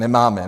Nemáme.